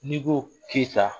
N'i ko Keyita